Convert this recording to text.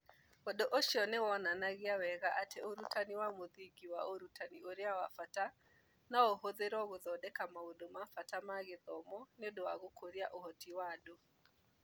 Ũndũ ũcio nĩ wonanagia wega atĩ ũrutani wa mũthingi wa ũrutani ũrĩa wa bata no ũhũthĩrũo gũthondeka maũndũ ma bata ma gĩthomo nĩ ũndũ wa gũkũria ũhoti wa andũ